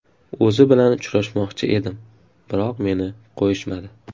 O‘zi bilan uchrashmoqchi edim, biroq meni qo‘yishmadi.